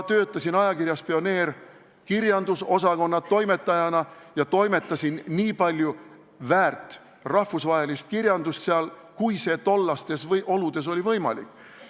Töötasin ajakirjas Pioneer kirjandusosakonna toimetajana ja toimetasin seal nii palju rahvusvahelist väärtkirjandust, kui see tollastes oludes võimalik oli.